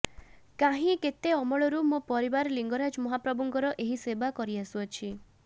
କାହିଁ କେତେ ଅମଳରୁ ମୋ ପରିବାର ଲିଙ୍ଗରାଜ ମହାପ୍ରଭୁଙ୍କର ଏହି ସେବା କରିଆସୁଛି